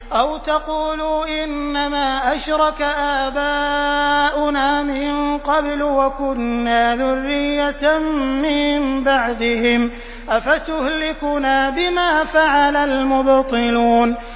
أَوْ تَقُولُوا إِنَّمَا أَشْرَكَ آبَاؤُنَا مِن قَبْلُ وَكُنَّا ذُرِّيَّةً مِّن بَعْدِهِمْ ۖ أَفَتُهْلِكُنَا بِمَا فَعَلَ الْمُبْطِلُونَ